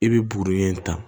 I bɛ buruyɛ in ta